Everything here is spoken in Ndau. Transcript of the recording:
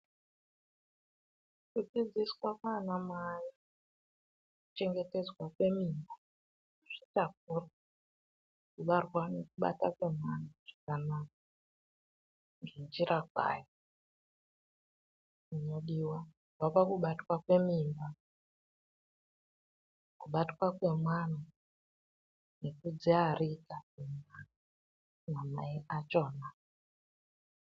Kudzidziswa kwaanamai kuchengetedzwa kwemimba kuzvitakura kubarwa ne kubatwa kwemwana zvakanaka ngenjira kwayo ,kubva pakubatwa kwemimba kubatwa kwemwana nekudziarika kwamai achona.